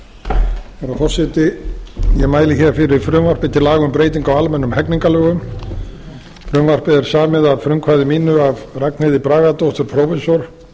herra forseti ég mæli hér fyrir frumvarpi til laga um breyting á almennum hegningarlögum frumvarpið er samið að frumkvæði mínu af ragnheiði bragadóttur prófessor